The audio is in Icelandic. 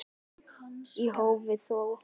Í hófi þó.